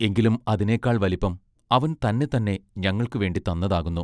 എങ്കിലും അതിനെക്കാൾ വലിപ്പം അവൻ തന്നെത്തന്നെ ഞങ്ങൾക്ക് വേണ്ടിത്തന്നതാകുന്നു.